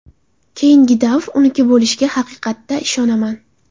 Keyingi davr uniki bo‘lishiga haqiqatda ishonaman.